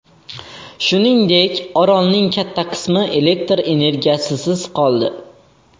Shuningdek, orolning katta qismi elektr energiyasisiz qoldi.